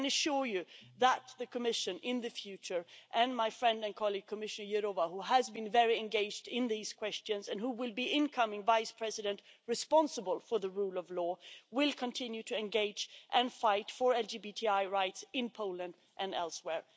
I can assure you that in the future, the Commission and my friend and colleague Commissioner Jourová who has been very engaged in these questions and who will be incoming Vice-President responsible for the rule of law will continue to engage and fight for LGBTI rights in Poland and elsewhere.